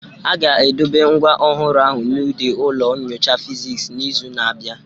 A ga-edobe ngwa ọhụrụ ahụ n'ụdị ụlọ nyocha Fiziks n'izu na-abịa